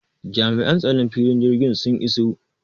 Jami'an tsaron filin jirgi sun iso